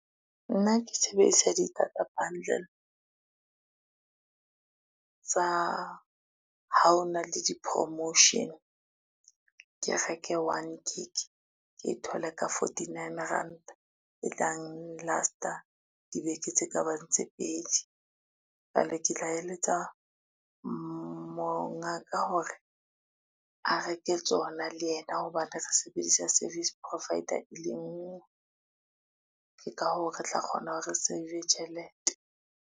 Nna ke sebedisa di-data bundle tsa ha ona le di-promotion. Ke reke one gig, ke e thole ka fourtynine ranta, e tlang last-a dibeke tse ka bang tse pedi. Ene ke tla eletsa mongaka hore a reke tsona le yena hobane re sebedisa service provider e le ngwe, ke ka hoo re tla kgona hore re save-e tjhelete.